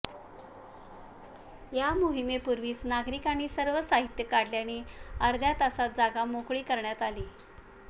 या मोहिमेपूर्वीच नागरिकांनी सर्व साहित्य काढल्याने अर्ध्या तासात जागा मोकळी करण्यात आली